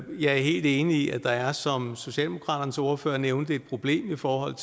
er helt enig i at der er som socialdemokraternes ordfører nævnte et problem i forhold